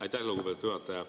Aitäh, lugupeetud juhataja!